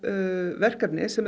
verkefni sem er